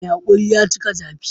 Mai haƙuri ya cika zafi